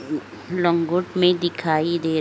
लंगोट मे दिखाई दे रहा है।